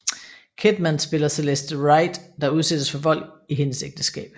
Kidman spiller Celeste Wright der udsættes for vold i hendes ægteskab